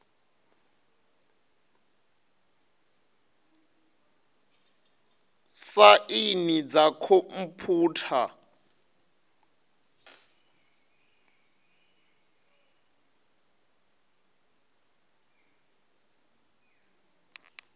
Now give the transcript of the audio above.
saini dza khomphutha na dzo